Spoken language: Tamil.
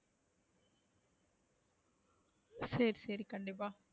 சரி சரி கண்டிப்பா,